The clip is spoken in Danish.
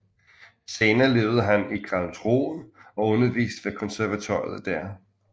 Senere levede han i Karlsruhe og underviste ved konservatoriet der